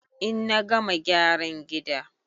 In na gama gyaran gida